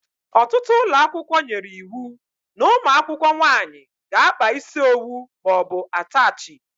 Ọtụtụ ụlọakwụkwọ nyere iwu n' umuakwukwo nwaanyị ga-akpa isi owu maọbu atachi.